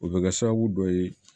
O bɛ kɛ sababu dɔ ye